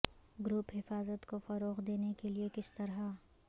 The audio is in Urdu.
گروپ حفاظت کو فروغ دینے کے لئے کس طرح